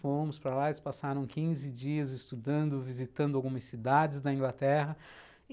Fomos para lá e eles passaram quinze dias estudando, visitando algumas cidades da Inglaterra.